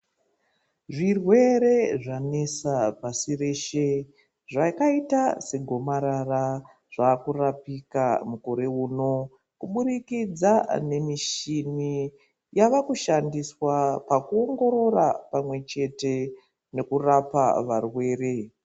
Zvirwere zvanesa pasi reshe zvakaita segomarara zvakurapika mukore uno kubudikidza nemushini yavakushandiswa pakuongorora pamwe chete nekurapa varwere.